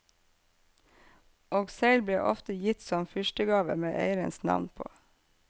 Og segl ble ofte gitt som fyrstegave med eierens navn på.